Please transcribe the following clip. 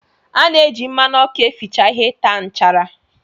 Ana eji mmanụ ọkụ eficha ihe taa nchara.